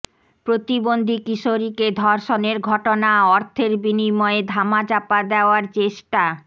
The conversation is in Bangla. প্রতিবন্ধী কিশোরীকে ধর্ষণের ঘটনা অর্থের বিনিময়ে ধামাচাপা দেওয়ার চেষ্টা